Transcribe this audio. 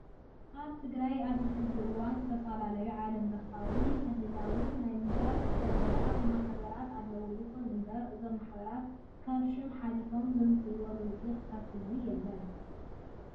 ኣብ ትግራይ ኣብዚ ሕዚ እዋን ዝተፈላለዩ ዓለም ለኻዊን ክልላውን ናይ ምሁራትን ሰብ ሞያታት ማህበራት ኣለው። ይኹን እምበር እዞም ማህበራት ካብ ሽም ሓሊፎም ዘምፅእዎ ለውጢ ክሳብ ሕዚ የለን።